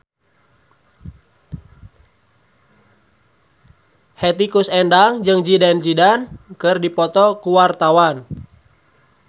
Hetty Koes Endang jeung Zidane Zidane keur dipoto ku wartawan